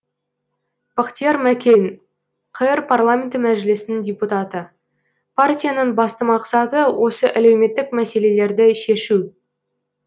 бақтияр мәкен қр парламенті мәжілісінің депутаты партияның басты мақсаты осы әлеуметтік мәселелерді шешу